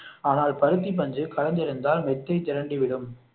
ஆனால் பருத்தி பஞ்சு கலந்திருந்தால் மெத்தை திரண்டு விடும்